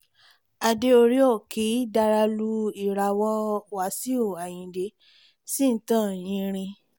adé orí òkì dàrá lú ìràwọ̀ wáṣíù ayíǹde ṣì ń tàn yinrin